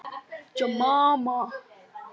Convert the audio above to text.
Eru þær áhyggjur óþarfi?